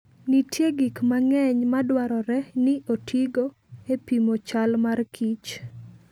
Nitie gik mang'eny madwarore ni otigo e pimo chal mar kich.